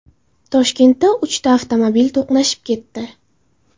Toshkentda uchta avtomobil to‘qnashib ketdi.